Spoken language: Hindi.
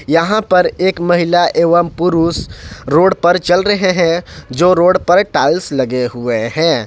यहां पर एक महिला एवं पुरुष रोड पर चल रहे हैं जो रोड पर टाइल्स लगे हुए हैं।